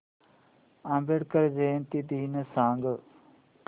आंबेडकर जयंती दिन सांग